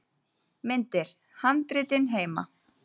Myndir: Handritin heima.